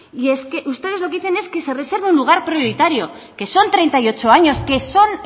y es que ustedes lo que dicen es que se reserve el lugar prioritario que son treinta y ocho años que son